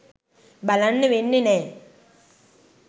බලන්න වෙන්නෙ නෑ